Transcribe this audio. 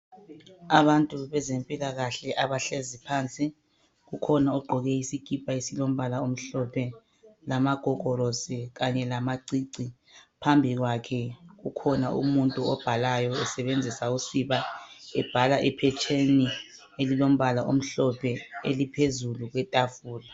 Abantu bezempilakahle abahlezi phansi kukhona ogqoke isikipa esilombala omhlophe lamagogorosi kanye lamacici phambi kwakhe kukhona umuntu obhalayo esebenzisa usiba ebhala ephetsheni elilombala omhlophe eliphezulu kwetafula.